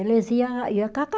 Eles ia ia